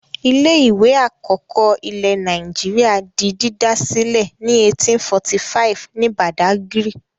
Ilé-ìwé àkọ́kọ́ ilẹ̀ Nàìjíríà di dídá sílẹ̀ ní 1845 ní Badagry.